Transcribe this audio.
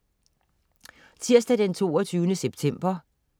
Tirsdag den 22. september